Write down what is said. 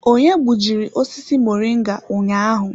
Onye gbujiri osisi moringa ụnyaahụ?